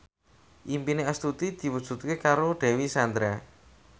impine Astuti diwujudke karo Dewi Sandra